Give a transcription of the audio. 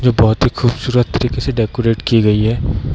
जो बहुत हीं खूबसूरत तरीके से डेकोरेट की गई है।